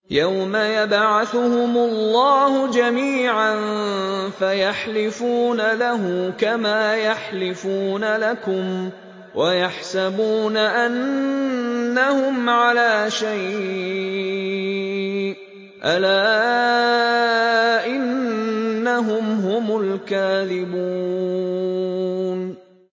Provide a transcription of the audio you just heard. يَوْمَ يَبْعَثُهُمُ اللَّهُ جَمِيعًا فَيَحْلِفُونَ لَهُ كَمَا يَحْلِفُونَ لَكُمْ ۖ وَيَحْسَبُونَ أَنَّهُمْ عَلَىٰ شَيْءٍ ۚ أَلَا إِنَّهُمْ هُمُ الْكَاذِبُونَ